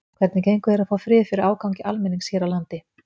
Hvernig gengur þér að fá frið fyrir ágangi almennings hér á landi?